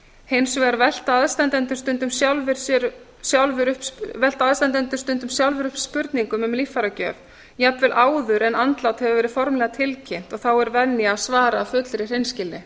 hins vegar velta aðstandendur stundum sjálfir upp spurningum um líffæragjöf jafnvel áður en andlát hefur verið formlega tilkynnt og þá er venja að svara af fullri hreinskilni